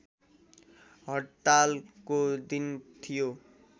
हड्तालको दिन थियो